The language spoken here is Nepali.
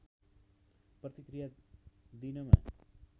प्रतिक्रिया दिनमा